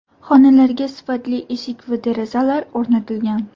Xonalarga sifatli eshik va derazalar o‘rnatilgan.